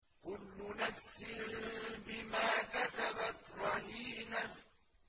كُلُّ نَفْسٍ بِمَا كَسَبَتْ رَهِينَةٌ